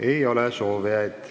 Ei ole soovijaid.